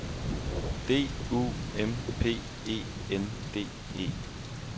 D U M P E N D E